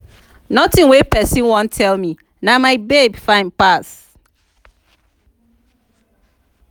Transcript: nothing wey person wan tell me na my babe fine pass.